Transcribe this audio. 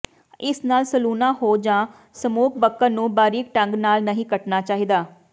ਇਸ ਨਾਲ ਸਲੂਣਾ ਹੋ ਜਾਂ ਸਮੋਕ ਬਕਨ ਨੂੰ ਬਾਰੀਕ ਢੰਗ ਨਾਲ ਨਹੀਂ ਕੱਟਣਾ ਚਾਹੀਦਾ